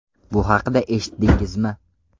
Bu haqida eshitdingizmi?